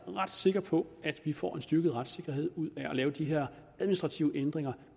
ret sikker på at vi får en styrket retssikkerhed ud af at lave de her administrative ændringer